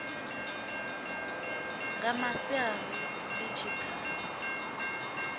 nga masiari ḽi tshi kha